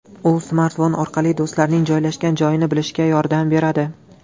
U smartfon orqali do‘stlarning joylashgan joyini bilishga yordam beradi.